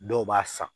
Dɔw b'a san